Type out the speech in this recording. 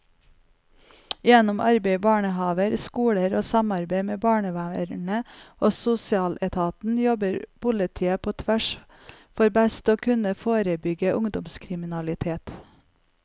Gjennom arbeid i barnehaver, skoler og samarbeid med barnevernet og sosialetaten jobber politiet på tvers for best å kunne forebygge ungdomskriminalitet.